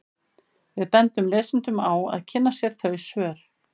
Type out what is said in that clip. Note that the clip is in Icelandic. Við bendum lesendum á að kynna sér þau svör.